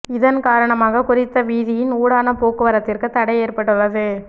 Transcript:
இதன் காரணமாக குறித்த வீதியின் ஊடான போக்குவரத்திற்கு தடை ஏற்பட்டுள்ளது